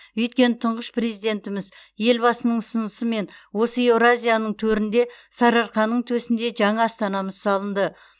өйткені тұңғыш президентіміз елбасының ұсынысымен осы еуразияның төрінде сарыарқаның төсінде жаңа астанамыз салынды